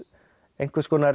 einhverskonar